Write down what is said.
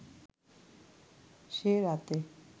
সে রাতে